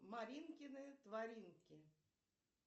маринкины творинки